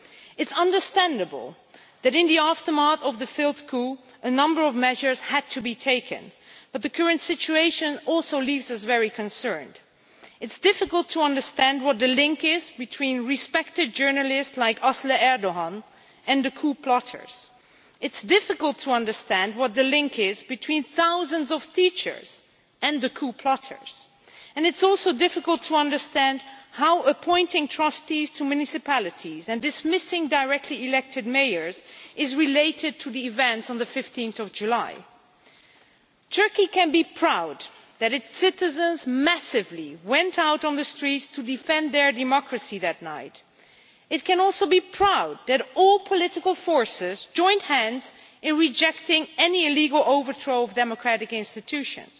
It is understandable that, in the aftermath of the coup, a number of measures had to be taken, but the current situation also leaves us very concerned. It is difficult to understand what the link is between respected journalists like Asli Erdogan and the coup plotters. It is difficult to understand what the link is between thousands of teachers and the coup plotters, and it is also difficult to understand how appointing trustees to municipalities and dismissing directly elected mayors is related to the events of 15 July. Turkey can be proud that its citizens massively went out on the streets to defend their democracy that night. It can also be proud that all political forces joined hands in rejecting any illegal overthrow of the democratic institutions.